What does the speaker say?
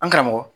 An karamɔgɔ